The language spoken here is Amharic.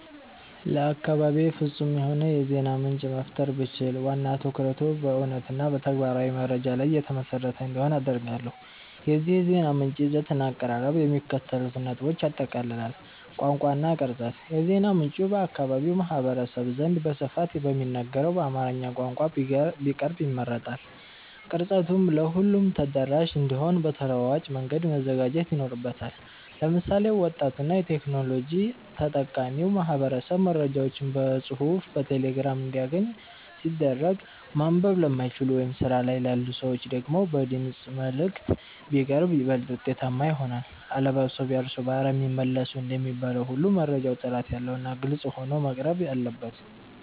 ለአካባቤ ፍጹም የሆነ የዜና ምንጭ መፍጠር ብችል፣ ዋና ትኩረቱ በእውነትና በተግባራዊ መረጃ ላይ የተመሰረተ እንዲሆን አደርጋለሁ። የዚህ የዜና ምንጭ ይዘትና አቀራረብ የሚከተሉትን ነጥቦች ያጠቃልላል፦ ቋንቋ እና ቅርጸት፦ የዜና ምንጩ በአካባቢው ማህበረሰብ ዘንድ በስፋት በሚነገረው በአማርኛ ቋንቋ ቢቀርብ ይመረጣል። ቅርጸቱም ለሁሉም ተደራሽ እንዲሆን በተለዋዋጭ መንገድ መዘጋጀት ይኖርበታል። ለምሳሌ፣ ወጣቱና የቴክኖሎጂ ተጠቃሚው ማህበረሰብ መረጃዎችን በጽሑፍ በቴሌግራም እንዲያገኝ ሲደረግ፣ ማንበብ ለማይችሉ ወይም ስራ ላይ ላሉ ሰዎች ደግሞ በድምፅ መልዕክት (Voice Messages) ቢቀርብ ይበልጥ ውጤታማ ይሆናል። "አለባብሰው ቢያርሱ በአረም ይመለሱ" እንደሚባለው ሁሉ፣ መረጃው ጥራት ያለውና ግልጽ ሆኖ መቅረብ አለበት።